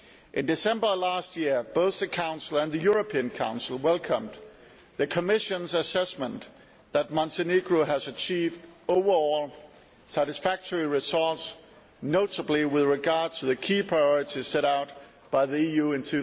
In December last year, both the Council and the European Council welcomed the Commission's assessment that Montenegro has achieved overall satisfactory results, notably with regard to the key priorities set out by the EU in